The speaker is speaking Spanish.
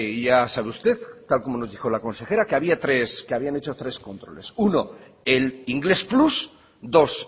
ya sabe usted tal y como nos dijo la consejera que habían hecho tres controles uno el inglés plus dos